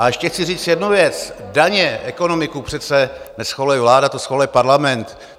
A ještě chci říct jednu věc: daně, ekonomiku přece neschvaluje vláda, to schvaluje Parlament.